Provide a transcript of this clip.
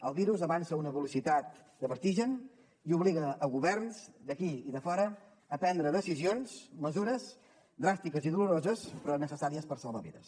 el virus avança a una velocitat de vertigen i obliga governs d’aquí i de fora a prendre decisions mesures dràstiques i doloroses però necessàries per salvar vides